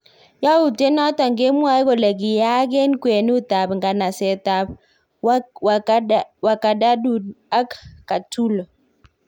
Yauteit naton kemwae kole kiyaak en kwenut ab nganaset ab Wargadadud ak Katulo